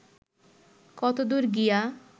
কতদূর গিয়া